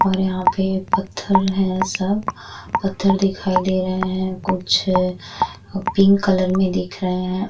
और यहाँ पे पत्थर हैं सब। पत्थर दिखाई दे रहे हैं। कुछ पिंक कलर में दिख रहे हैं।